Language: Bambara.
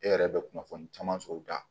E yɛrɛ bɛ kunnafoni caman sɔrɔ u da